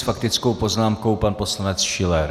S faktickou poznámkou pan poslanec Schiller.